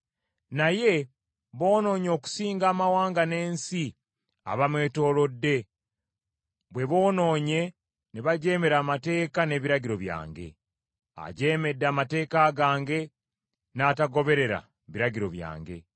Naye, boonoonye okusinga amawanga n’ensi abemwetoolodde bwe boonoonye ne bajeemera amateeka n’ebiragiro byange. Ajeemedde amateeka gange, n’atagoberera biragiro byange.